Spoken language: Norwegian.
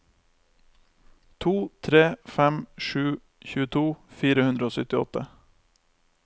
to tre fem sju tjueto fire hundre og syttiåtte